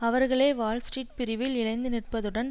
அவர்களே வால்ஸ்ட்ரீட் பிரிவில் இழைந்து நிற்பதுடன்